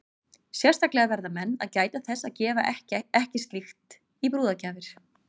Sérstaklega verða menn að gæta þess að gefa ekki slíkt í brúðargjafir.